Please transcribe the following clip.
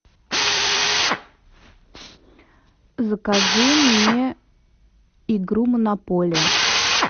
закажи мне игру монополия